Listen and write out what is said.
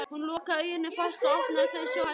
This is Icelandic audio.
Hún lokaði augunum fast og opnaði þau svo hægt aftur.